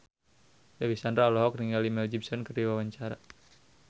Dewi Sandra olohok ningali Mel Gibson keur diwawancara